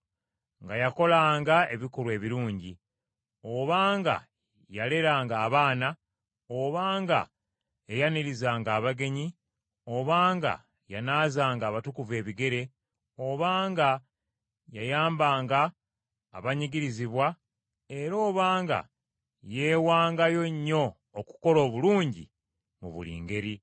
nga yakolanga ebikolwa ebirungi, oba nga yaleranga abaana, oba nga yayanirizanga abagenyi, oba nga yanaazanga abatukuvu ebigere, oba nga yayambanga abanyigirizibwa, era oba nga yeewangayo nnyo okukola obulungi mu buli ngeri.